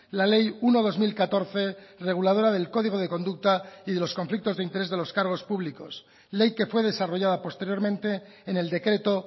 la ley uno barra dos mil catorce reguladora del código de conducta y de los conflictos de interés de los cargos públicos ley que fue desarrollada posteriormente en el decreto